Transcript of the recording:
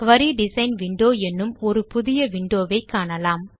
குரி design window எனும் ஒரு புதிய விண்டோ வை காணலாம்